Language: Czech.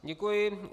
Děkuji.